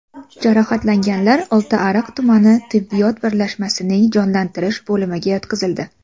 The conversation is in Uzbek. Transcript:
Jarohatlanganlar Oltiariq tumani tibbiyot birlashmasining jonlantirish bo‘limiga yotqizildi.